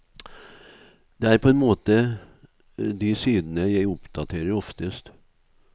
Det er på en måte de sidene jeg oppdaterer oftest.